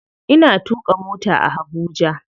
Ina tuƙa mota a Habuja.